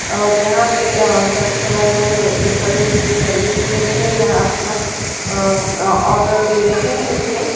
और यहाँ पर कस्टमर लो खड़े होते है सर्विस ले रहे है यहाँ अपना और ऑर्डर दे रहे है इसमें --